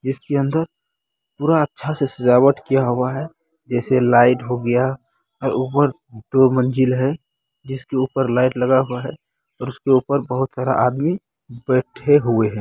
इसके अंदर पूरा अच्छा से सजावट किया हुआ है जैसे लाइट हो गया और ऊपर दो मंजिल है जिसके ऊपर लाइट लगा हुआ है और उसके ऊपर बहुत सारा आदमी बैठे हुए हैं।